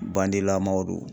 Bandilamaw don